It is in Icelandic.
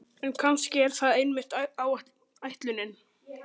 En kannski er það einmitt ætlunin.